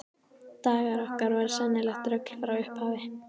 Dagar okkar voru sennilegt rugl frá upphafi.